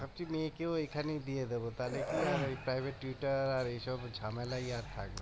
ভাবছি মেয়েকেও এখানে দিয়ে দেবো তাহলে কি হয় এই আর এ সব ঝামেলাই আর থাকবে না